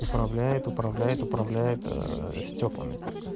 управляет управляет управляет стёклами